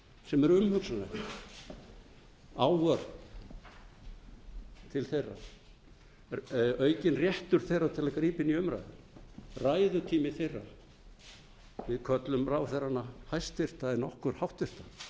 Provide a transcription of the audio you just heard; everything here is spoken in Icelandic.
sem eru umhugsunarefni ávörp til þeirra aukinn réttur þeirra til að grípa inn í umræður ræðutími þeirra við köllum ráðherrana hæstvirta en okkur háttvirta þetta